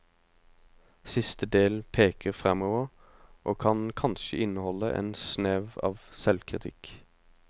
Siste del peker fremover, og kan kanskje inneholde en snev av selvkritikk.